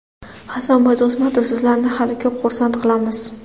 Hasanboy Do‘stmatov: Sizlarni hali ko‘p xursand qilamiz!.